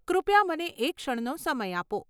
કૃપયા મને એક ક્ષણનો સમય આપો.